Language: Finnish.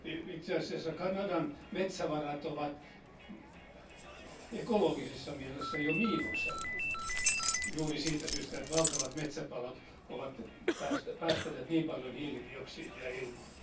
Itse asiassa Kanadan metsävarat ovat ekologisessa mielessä jo miinuksella juuri siitä syystä, että valtavat metsäpalot ovat päästäneet niin paljon hiilidioksidia ilmaan.